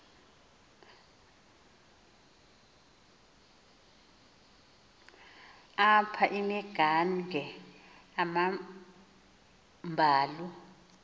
apha imidange amambalu